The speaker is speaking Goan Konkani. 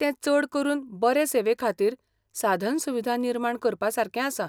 तें चड करून बरे सेवेखातीर साधनसुविधा निर्माण करपासारकें आसा.